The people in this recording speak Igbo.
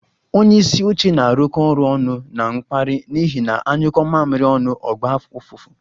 Onye isi oche na-arụkọ ọrụ ọnụ na mkpara n'ihi na anyuko mamiri onu o gba ufufu